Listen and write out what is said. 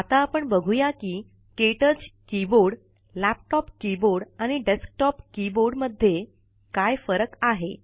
आता आपण बघूया कि के टच कीबोर्डlaptop कीबोर्ड आणि डेक्सटोप कीबोर्ड माध्ये काय फरक आहे